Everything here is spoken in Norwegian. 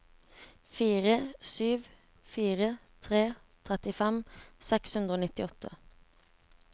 fire sju fire tre trettifem seks hundre og nittiåtte